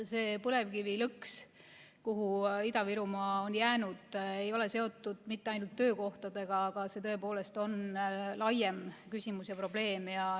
See põlevkivilõks, kuhu Ida‑Virumaa on jäänud, ei ole seotud mitte ainult töökohtadega, vaid see on tõepoolest laiem küsimus ja probleem.